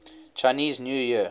chinese new year